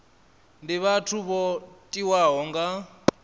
ndi vhathu vho tiwaho nga